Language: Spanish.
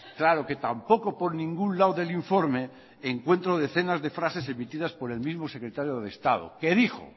claro que tampoco por ningún lado del informe encuentro decenas de frases emitidas por el mismo secretario de estado que dijo